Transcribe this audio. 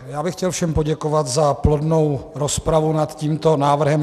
Já bych chtěl všem poděkovat za plodnou rozpravu nad tímto návrhem.